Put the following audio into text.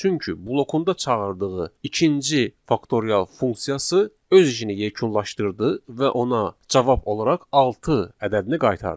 Çünki blokunda çağırdığı ikinci faktorial funksiyası öz işini yekunlaşdırdı və ona cavab olaraq altı ədədini qaytardı.